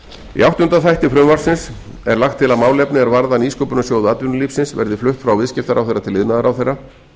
í áttunda þætti frumvarpsins er lagt til að málefni er varða nýsköpunarsjóðs atvinnulífsins verði flutt frá viðskiptaráðherra til iðnaðarráðherra